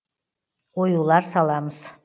оюлар саламыз